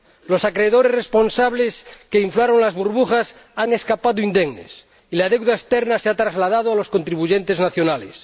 Los acreedores responsables que inflaron las burbujas han escapado indemnes y la deuda externa se ha trasladado a los contribuyentes nacionales.